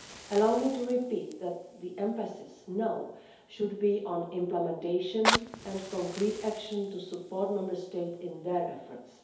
Allow me to repeat that the emphasis now should be on implementation and concrete action to support Member States in their efforts.